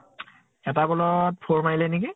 এটা ball ত four মাৰিলে নেকি